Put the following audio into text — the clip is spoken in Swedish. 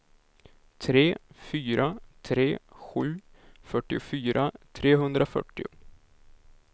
tre fyra tre sju fyrtiofyra trehundrafyrtio